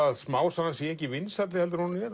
að smásagan sé ekki vinsælli en hún er